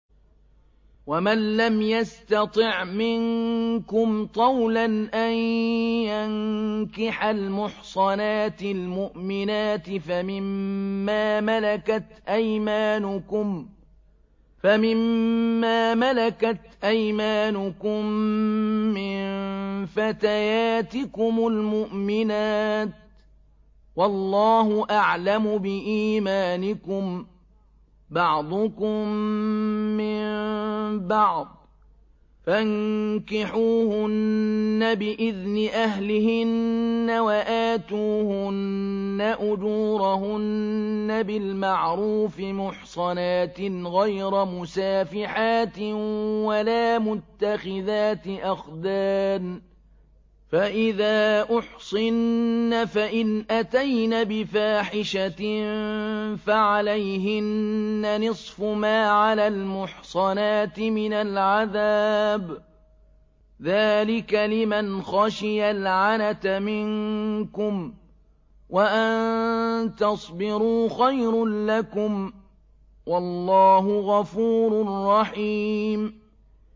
وَمَن لَّمْ يَسْتَطِعْ مِنكُمْ طَوْلًا أَن يَنكِحَ الْمُحْصَنَاتِ الْمُؤْمِنَاتِ فَمِن مَّا مَلَكَتْ أَيْمَانُكُم مِّن فَتَيَاتِكُمُ الْمُؤْمِنَاتِ ۚ وَاللَّهُ أَعْلَمُ بِإِيمَانِكُم ۚ بَعْضُكُم مِّن بَعْضٍ ۚ فَانكِحُوهُنَّ بِإِذْنِ أَهْلِهِنَّ وَآتُوهُنَّ أُجُورَهُنَّ بِالْمَعْرُوفِ مُحْصَنَاتٍ غَيْرَ مُسَافِحَاتٍ وَلَا مُتَّخِذَاتِ أَخْدَانٍ ۚ فَإِذَا أُحْصِنَّ فَإِنْ أَتَيْنَ بِفَاحِشَةٍ فَعَلَيْهِنَّ نِصْفُ مَا عَلَى الْمُحْصَنَاتِ مِنَ الْعَذَابِ ۚ ذَٰلِكَ لِمَنْ خَشِيَ الْعَنَتَ مِنكُمْ ۚ وَأَن تَصْبِرُوا خَيْرٌ لَّكُمْ ۗ وَاللَّهُ غَفُورٌ رَّحِيمٌ